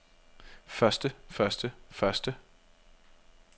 første første første